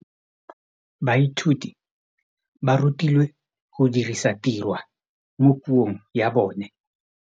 Baithuti ba rutilwe go dirisa tirwa mo puong ya bone.